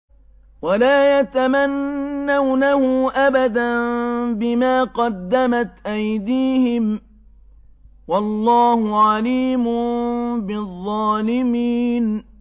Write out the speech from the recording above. وَلَا يَتَمَنَّوْنَهُ أَبَدًا بِمَا قَدَّمَتْ أَيْدِيهِمْ ۚ وَاللَّهُ عَلِيمٌ بِالظَّالِمِينَ